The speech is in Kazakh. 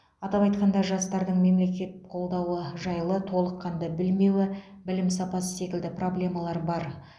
атап айтқанда жастардың мемлекет қолдауы жайлы толыққанды білмеуі білім сапасы секілді проблемалар бар